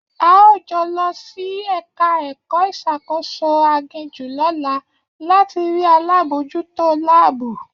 A óò jọ lọ sí ẹ̀ka ẹ̀kọ́ ìṣàkóso aginjù lọ́la láti rí alábòójútó láàbù